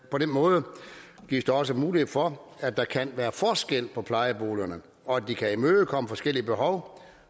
måde gives der også mulighed for at der kan være forskel på plejeboligerne og at de kan imødekomme forskellige behov